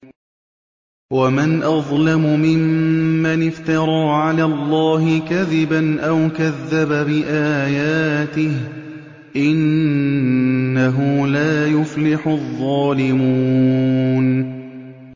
وَمَنْ أَظْلَمُ مِمَّنِ افْتَرَىٰ عَلَى اللَّهِ كَذِبًا أَوْ كَذَّبَ بِآيَاتِهِ ۗ إِنَّهُ لَا يُفْلِحُ الظَّالِمُونَ